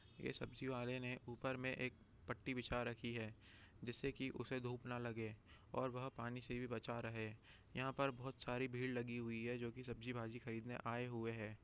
ये सब्जी वाले ने ऊपर में एक पट्टी बिछा रखी है जिससे के उसे धूप ना लगे और वह पानी से भी बचा रहे यहाँ पर बहुत सारा भीड़ लगी हुई है जो की सब्जी भाजी खरीदने आए हुए है।